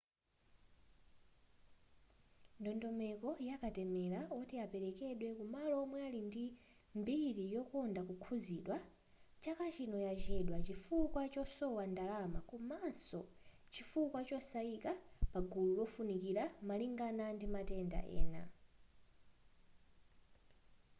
ndondomeko ya katemera oti aperekedwe kumalo omwe ali ndimbiri yokonda kukhuzidwa chaka chino yachedwa chifukwa chosowa ndalama komaso chifuwa chosayika pagulu lofunikira malingana ndimatenda ena